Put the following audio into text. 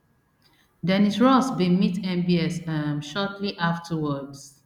dennis ross bin meet mbs um shortly afterwards